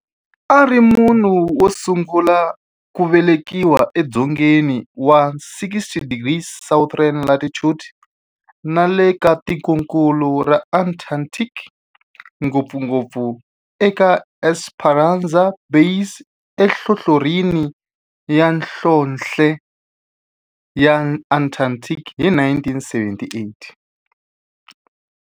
A ri munhu wosungula ku velekiwa e dzongeni wa 60 degrees south latitude nale ka tikonkulu ra Antarctic, ngopfungopfu eEsperanza Base enhlohlorhini ya nhlonhle ya Antarctic hi 1978.